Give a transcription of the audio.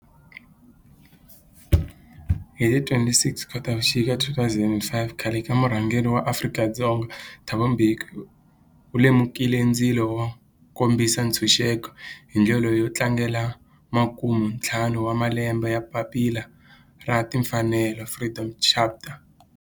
Hi ti 26 Khotavuxika 2005 khale ka murhangeri wa Afrika-Dzonga Thabo Mbeki u lumekile ndzilo wo kombisa ntshuxeko, hi ndlela yo tlangela makume-ntlhanu wa malembe ya papila ra timfanelo, Freedom Charter.